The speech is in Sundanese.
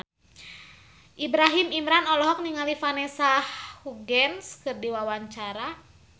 Ibrahim Imran olohok ningali Vanessa Hudgens keur diwawancara